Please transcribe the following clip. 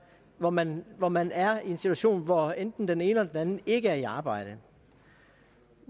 hvor man hvor man er i en situation hvor enten den ene eller den anden ikke er i arbejde